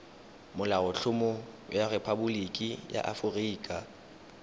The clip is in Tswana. molaotlhomo wa rephaboliki ya aforika